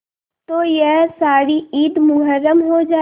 तो यह सारी ईद मुहर्रम हो जाए